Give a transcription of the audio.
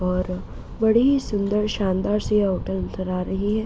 और बड़ी ही सुंदर शानदार सी होटल नजर आ रही है।